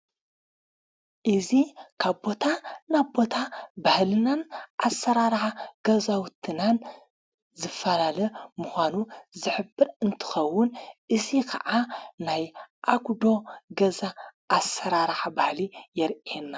እዙ ካብ ቦታ ናቦ ቦታ ባህልናን ኣሠራራኃ ገዛውትናን ዘፈላለ ምዃኑ ዘሕብር እንትኸውን እዙ ከዓ ናይ ኣጕዶ ገዛ ዓሠራራሕ ባህሊ የርየና።